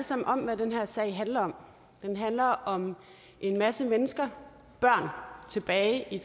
sammen om hvad den her sag handler om den handler om en masse mennesker børn tilbage i